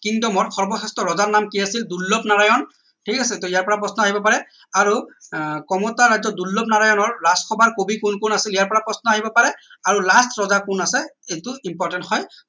kingdom ৰ সৰ্বশ্ৰেষ্ঠ ৰজাৰ নাম কি আছিল দুৰ্লনাৰায়ণ ঠিক আছে টৌ ইয়াৰ পৰা প্ৰশ্ন আহিব পাৰে আৰু আহ কমতাৰ ৰাজ্যৰ দুৰ্লনাৰায়ণৰ ৰাজ সভাৰ কবি কোন কোন আছিল ইয়াৰ পৰা প্ৰশ্ন আহিব পাৰে আৰু last ৰজা কোন আছে এইটো important হয়